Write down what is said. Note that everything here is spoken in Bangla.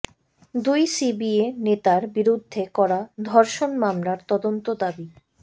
দুই সিবিএ নেতার বিরুদ্ধে করা ধর্ষণ মামলার তদন্ত দাবি